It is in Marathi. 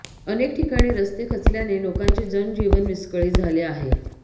अनेक ठिकाणी रस्ते खचल्याने लोकांचे जनजीवन विस्कळीत झाले आहे